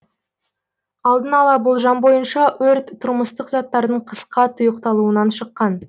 алдын ала болжам бойынша өрт тұрмыстық заттардың қысқа тұйықталуынан шыққан